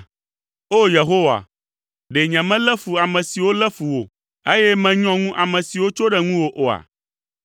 O! Yehowa, ɖe nyemelé fu ame siwo lé fu wò, eye menyɔ ŋu ame siwo tso ɖe ŋuwò oa?